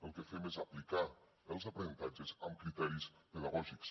el que fem és aplicar els aprenentatges amb criteris pedagògics